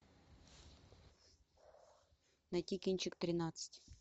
найти кинчик тринадцать